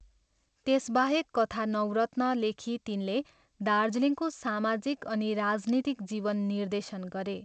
त्यसबाहेक कथा नवरत्न लेखी तिनले दार्जिलिङको सामाजिक अनि राजनीतिक जीवन निर्देशन गरे।